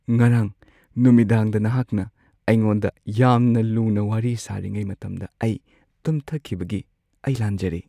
ꯉꯔꯥꯡ ꯅꯨꯃꯤꯗꯥꯡꯗ ꯅꯍꯥꯛꯅ ꯑꯩꯉꯣꯟꯗ ꯌꯥꯝꯅ ꯂꯨꯅ ꯋꯥꯔꯤ ꯁꯥꯔꯤꯉꯩ ꯃꯇꯝꯗ ꯑꯩ ꯇꯨꯝꯊꯈꯤꯕꯒꯤ ꯑꯩ ꯂꯥꯟꯖꯔꯦ꯫